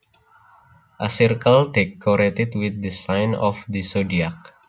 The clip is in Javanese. A circle decorated with the signs of the zodiac